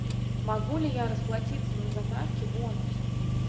могу ли я расплатиться на заправке бонусами